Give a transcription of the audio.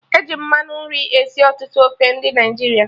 E ji mmanụ nri esi ọtụtụ ofe ndị Naịjirịa